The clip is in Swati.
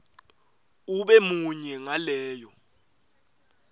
ube munye ngaleyo